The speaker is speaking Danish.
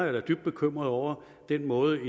er da dybt bekymret over den måde